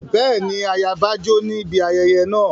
Bẹ́ẹ̀ni, ayaba jó níbi ayẹyẹ náà.